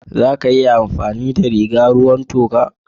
Za a iya amfani da rigar ruwan toka?